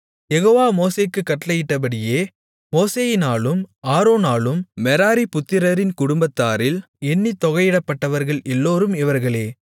யெகோவா மோசேக்குக் கட்டளையிட்டபடியே மோசேயினாலும் ஆரோனாலும் மெராரி புத்திரரின் குடும்பத்தாரில் எண்ணித் தொகையிடப்பட்டவர்கள் எல்லோரும் இவர்களே